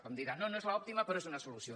em dirà no no és l’òptima però és una solució